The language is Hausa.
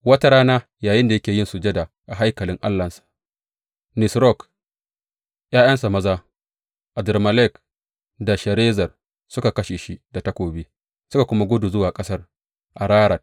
Wata rana, yayinda yake yin sujada a haikalin allahnsa Nisrok, ’ya’yansa maza Adrammelek da Sharezer suka kashe shi da takobi, suka kuma gudu zuwa ƙasar Ararat.